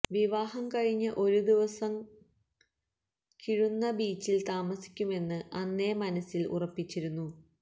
വിവാഹം കഴിഞ്ഞ് ഒരു ദിവസം കിഴുന്ന ബീച്ചിൽ താമസിക്കുമെന്ന് അന്നേ മനസ്സിൽ ഉറപ്പിച്ചിരുന്നു